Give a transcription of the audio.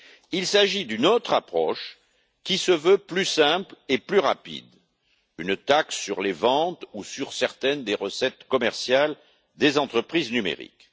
Il s'agit d'une autre approche, qui se veut plus simple et plus rapide, une taxe sur les ventes ou sur certaines des recettes commerciales des entreprises numériques.